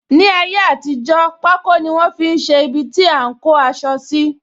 Ní ayé àtijó, pako ni wọn fi ṣe ibiti a ń kó aṣọ síi